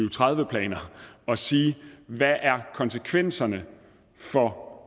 og tredive planer at sige hvad er konsekvenserne for